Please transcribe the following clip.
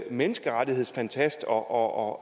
menneskerettighedsfantast og